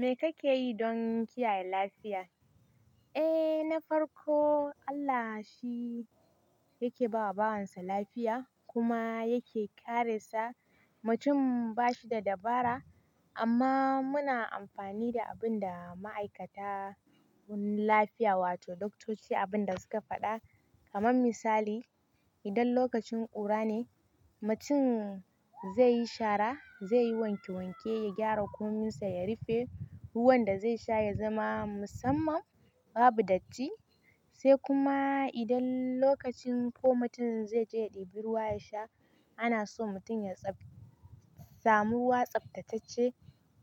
Me kake yi don kiyaye lafiya? Eh na farko Allah shi yake bawa bawansa lafiya kuma yake kare sa, mutum ba shi da dabara amma muna amfani da abin da ma'aikata wurin lafiya wato Doktoci abin da suka faɗa, kaman misali idan lokacin ƙura ne mutum zai yi shara, zai yi wanke wanke ya gyara kwaminsa ya rufe, ruwan da zai sha ya zama musamman babu datti, sai kuma idan lokacin ko mutum zai je ya ɗebi ruwa ya sha ana so mutum ya samu ruwa tsaftatacce